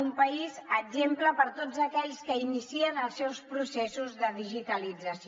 un país exemple per tots aquells que inicien els seus processos de digitalització